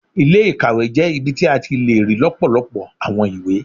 Ilé-ìkàwé jẹ́ ibi tí a ti le rí lọpọlọpọ àwọn ìwé